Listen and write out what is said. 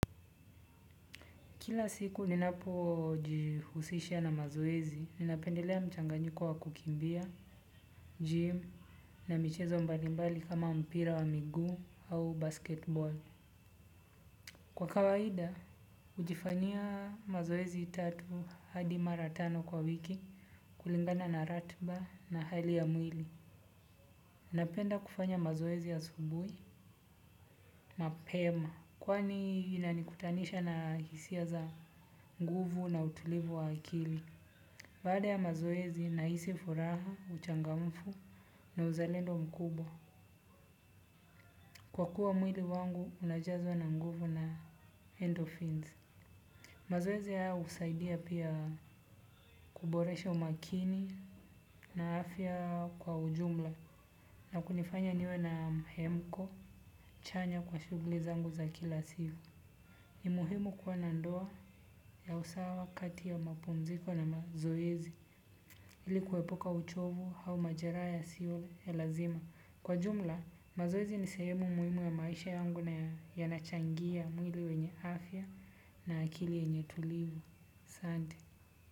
Kila siku ninapo jihusisha na mazoezi, ninapendelea mchanganyiko wa kukimbia, gym, na michezo mbalimbali kama mpira wa miguu au basketball. Kwa kawaida, hujifanyia mazoezi tatu hadi maratano kwa wiki kulingana na ratiba na hali ya mwili. Napenda kufanya mazoezi asubuhi, mapema. Kwani inanikutanisha na hisia za nguvu na utulivu wa akili. Baada ya mazoezi na hisi furaha, uchangamfu na uzalendo mkubwa. Kwa kuwa mwili wangu unajazwa na nguvu na endorphins. Mazoezi haya husaidia pia kuboresha umakini na afya kwa ujumla na kunifanya niwe na mhemko chanya kwa shughulizangu za kila siku. Ni muhimu kuwa nandoa ya usawa kati ya mapumziko na mazoezi ilikuepuka uchovu au majeraha yasio ya lazima. Kwa jumla mazoezi ni sehemu muhimu ya maisha yangu na yanachangia mwili wenye afya na akili yenye tulivu asante.